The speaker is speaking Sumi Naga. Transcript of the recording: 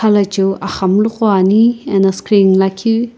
lachiu axamulu qo ani ena screen lakhi.